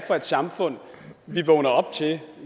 for et samfund vi vågnede op til